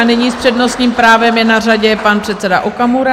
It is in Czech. A nyní s přednostním právem je na radě pan předseda Okamura.